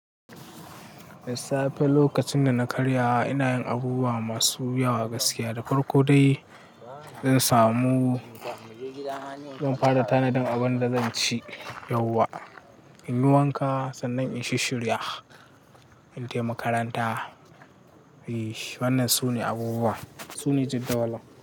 Da safe lokacin da na karya, ina yin abubuwa masu yawa gaskiya da farko dai. Zan samu-- zan fara tanadin abin da zan ci yauwa. In yi wanka sannan in yi shishirya in tafi makaranta. Eish! Wannan sune abubuwa, sune jadawali.